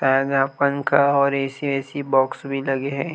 शायद यहाँ पंखा और ऐसी ऐसी बॉक्स भी लगे है।